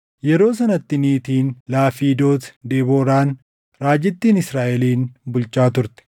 Yeroo sanatti niitiin Lafiidoot Debooraan raajittiin Israaʼelin bulchaa turte.